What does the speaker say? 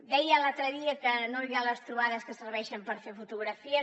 deia l’altre dia que no anirà a les trobades que serveixen per fer fotografies